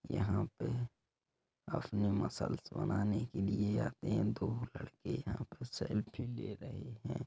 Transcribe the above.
यहाँ पे अपने मसल्स बनाने के लिए आते हैं दो लड़के यहाँ पे सेल्फी ले रहे हैं।